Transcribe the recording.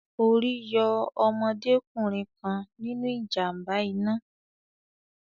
Orí yọ ọmọdé kùnrin kan nínu ìjàm̀ba iná